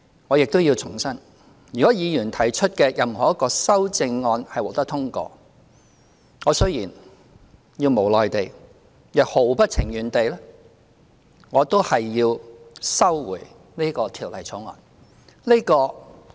我亦要重申，如果議員提出的任何一項修正案獲得通過，我雖然無奈也毫不情願，但也要收回這項《條例草案》。